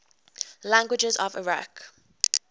languages of iraq